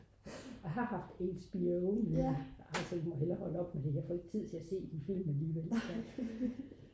jeg har haft HBO men jeg tænkte ej jeg må hellere holde op med det jeg får ikke tid til at se de film alligevel